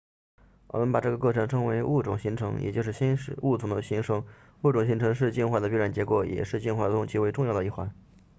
我们把这个过程称为物种形成也就是新物种的形成物种形成是进化的必然结果也是进化中极为重要的一环